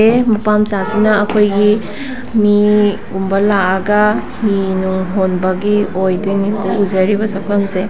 ꯃꯄꯥ ꯃꯆꯥꯁꯤꯅ ꯑꯈꯣꯏꯒꯤ ꯃꯤ ꯒꯨꯝꯕ ꯂꯛꯑꯒ ꯍꯤ ꯅꯨꯡ ꯍꯣꯟꯕꯒꯤ ꯑꯣꯏꯗꯣꯏꯅꯤ ꯎꯖꯔꯤꯕ ꯁꯛꯇꯝꯁꯦ꯫